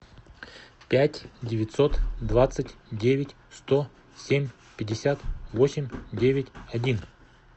пять девятьсот двадцать девять сто семь пятьдесят восемь девять один